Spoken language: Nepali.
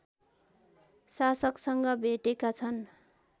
शासकसँग भेटेका छन्